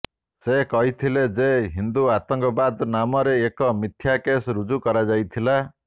ସେ କହିଥିଲେ ଯେ ହିନ୍ଦୁ ଆତଙ୍କବାଦ ନାମରେ ଏକ ମିଥ୍ୟା କେସ୍ ରୁଜୁ କରାଯାଇଥିଲା